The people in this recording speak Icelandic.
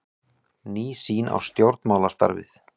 Ný sýn á stjórnmálastarfið